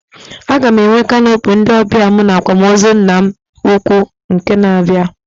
Aga m enwe canopy ndị ọbịa mụ na akwamozu nna m ukwu na izu na abịa